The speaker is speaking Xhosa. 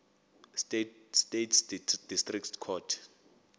states district court